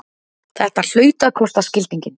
Þetta hlaut að kosta skildinginn!